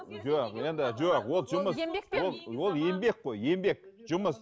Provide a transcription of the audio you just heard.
жоқ енді жоқ ол жұмыс ол ол еңбек қой еңбек жұмыс